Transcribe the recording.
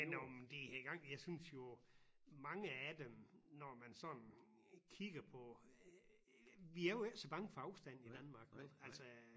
Men om det har gang jeg synes jo mange af dem når man sådan kigger på vi er jo ikke så bange for afstand i Danmark vel altså